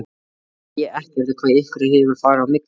Nú veit ég ekkert hvað ykkur hefur farið á milli?